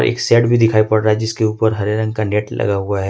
एक शेड भी दिखाई पड़ रहा है जिसके ऊपर हरे रंग का नेट लगा हुआ है।